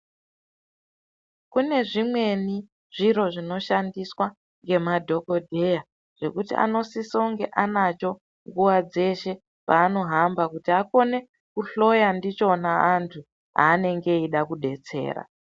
Kume zvimweni zviro zvinoshandiswa nemadhokodheya zvekuti anosisa kunge anacho nguwa dzeshe paanohamba kuti akone kuhloya ndichona anthu paanenge eida kudetsera.